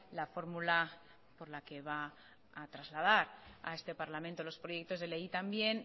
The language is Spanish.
la fórmula por la que va a trasladar a este parlamento los proyectos de ley y también